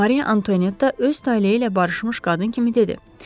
Mariya Antonietta öz taleyi ilə barışmış qadın kimi dedi.